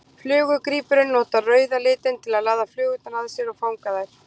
Flugugrípurinn notar rauða litinn til að laða flugur að sér og fanga þær.